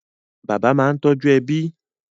Bàbá máa ń tọ́jú ẹbí